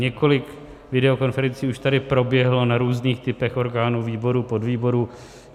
Několik videokonferencí už tady proběhlo na různých typech orgánů, výborů, podvýborů.